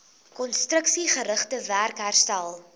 konstruksiegerigte werk herstel